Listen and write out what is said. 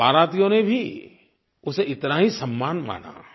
बारातियों ने भी उसे इतना ही सम्मान माना